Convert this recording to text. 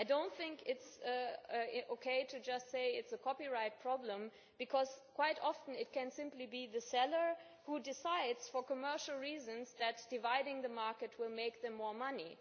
I do not think it is OK just to say that it is a copyright problem, because quite often it can simply be the seller who decides for commercial reasons that dividing the market will make him more money.